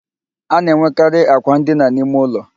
A na-enwekarị àkwà ndina n'ime ụlọ